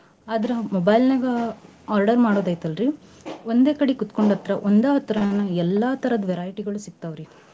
ಆದ್ರ mobile ನ್ಯಾಗ order ಮಾಡುದೈತೆಲ್ರಿ ಒಂದೇ ಕಡಿ ಕೂತ್ಗೊಂಡ ಹತ್ರ ಒಂದ ಹತ್ರಾನ ಎಲ್ಲಾ ತರದ್ variety ಗಳು ಸಿಕ್ತಾವ್ ರಿ.